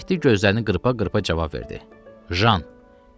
Mehdi gözlərini qırpa-qırpa cavab verdi: Jan.